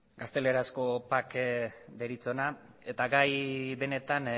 gaztelerazko pac deritzona eta gai benetan